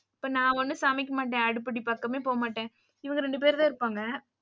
இப்ப நா ஒன்னும் சமைக்க மாட்டேன், அடுப்படி பக்கமே போக மாட்டேன். இவங்க ரெண்டு பேருதான் இருப்பாங்க.